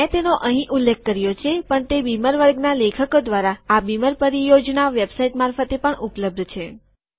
મેં તેનો અહીં ઉલ્લેખ કર્યો છે પણ તે બીમર વર્ગના લેખકો દ્વારા આ બીમર પરિયોજના વેબસાઈટ મારફતે પણ ઉપલબ્ધ છે